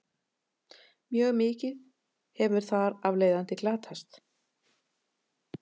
mjög mikið hefur þar af leiðandi glatast